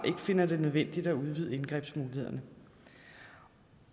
finder det nødvendigt at udvide indgrebsmulighederne